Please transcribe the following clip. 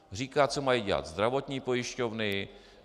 Říká, co mají dělat zdravotní pojišťovny.